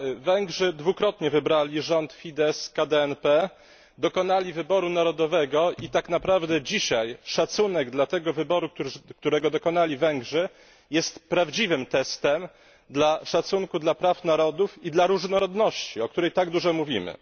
Węgrzy dwukrotnie wybrali rząd Fidesz KDNP, dokonali wyboru narodowego i tak naprawdę dzisiaj szacunek dla tego wyboru, którego dokonali Węgrzy, jest prawdziwym testem szacunku dla praw narodów i różnorodności, o której tak dużo mówimy.